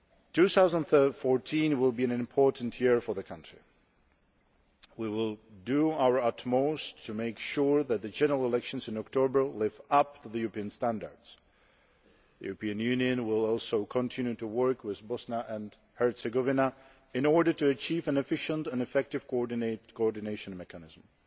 2014 will be an important year for the country We will do our utmost to make sure that the general elections in October live up to European standards. The European Union will also continue to work with Bosnia and Herzegovina in order to achieve an efficient and effective coordination mechanism.